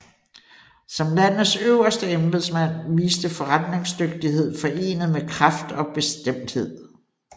Som landets øverste embedsmand viste forretningsdygtighed forenet med kraft og bestemthed